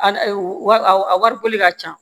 A wa a wari boli ka ca